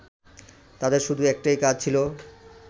তাঁদের শুধু একটাই কাজ ছিল